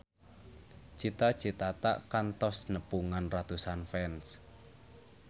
Cita Citata kantos nepungan ratusan fans